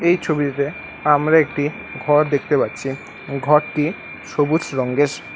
এই ছবিটিতে আমরা একটি ঘর দেখতে পাচ্ছি ঘরটি সবুজ রঙ্গের।